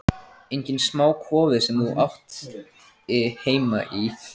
Enginn smá kofi sem þú átti heima í!